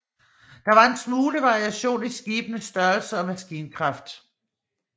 Der var en smule variation i skibenes størrelse og maskinkraft